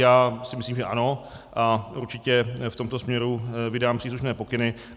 Já si myslím, že ano, a určitě v tomto směru vydám příslušné pokyny.